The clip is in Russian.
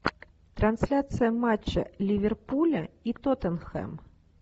трансляция матча ливерпуля и тоттенхэм